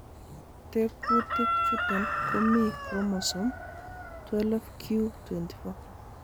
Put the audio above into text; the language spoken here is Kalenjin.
Tekutik chuton komi chromosome 12q24.